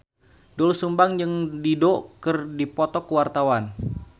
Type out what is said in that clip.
Doel Sumbang jeung Dido keur dipoto ku wartawan